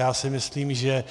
Já si myslím, že